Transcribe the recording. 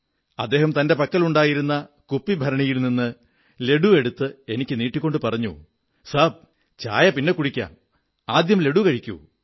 അദ്ദേഹം തന്റെ പക്കലുണ്ടായിരുന്ന കണ്ണാടി ഭരണിയിൽ നിന്ന് ലഡ്ഡു എടുത്തു നീട്ടിക്കൊണ്ടു പറഞ്ഞു സാബ് ചായ പിന്നെക്കുടിക്കാം ആദ്യം ലഡ്ഡൂ കഴിക്കൂ